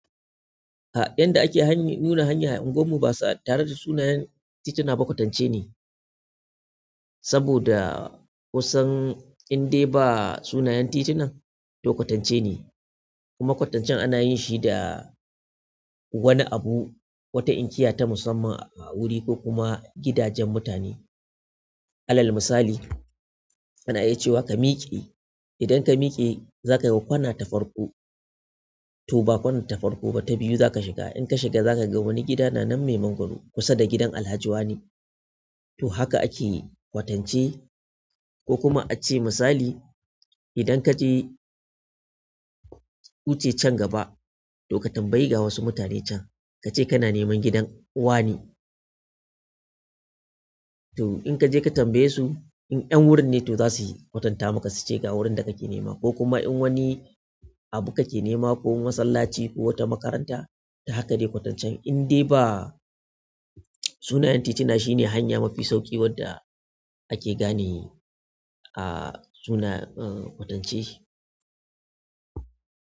Ta yanda ake hany-- nuna hanya a unguwar mu basa tare da sunayen tituna ba kwatance ne. Saboda kusan in dai ba sunayen titunan to kwatance ne. Kuma kwatancen ana yin shi da wani abu, wata inkiya ta musamman a wuri ko kuma gidajen mutane. Alal misali, ana iya cewa ka miƙe. Idan ka miƙe za ka ga kwana ta farko to ba kwana ta farko ba ta biyu za ka shiga. In ka shiga za ka ga wani gida na nan mai mangwaro kusa da gidan Alhaji Wane. To haka ake kwatance ko kuma ace misali idan ka je, huce can gaba to ka tambayi ga wasu mutane can ka ce kana neman gidan uwa ni. To in ka je ka tambaye su in 'yan wurin ne to za su yi kwatanta maka su ce ga wurin da kake nema ko kuma in wani abu kake nema ko masallaci ko wata makaranta to haka ne kwatancen. In dai ba sunayen tituna shine hanya mafi sauƙi wadda ake gane a suna, eh, kwatance.